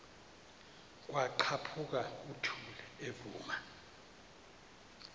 kwaqhaphuk uthuli evuma